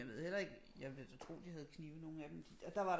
Jeg ved heller ikke jeg vil da tro de havde knive nogle af dem der var